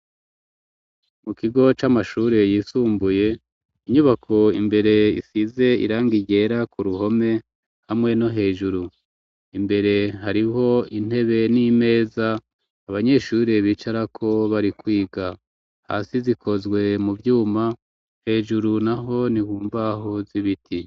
Mu kigo c'amashuri yisumbuye, inyubako imbere isize irangi ryera ku ruhome hamwe no hejuru, imbere hariho intebe n'imeza abanyeshuri bicarako bari kwiga. Hasi zikozwe mu vyuma, hejuru naho ni mu mbaho z'ibiti.